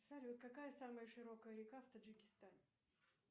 салют какая самая широкая река в таджикистане